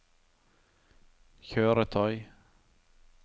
kjøretøy